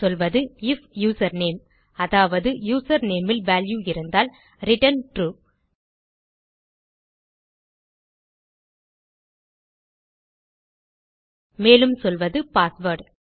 சொல்வது if username அதாவது username இல் வால்யூ இருந்தால் ரிட்டர்ன் ட்ரூ மேலும் சொல்வது பாஸ்வேர்ட்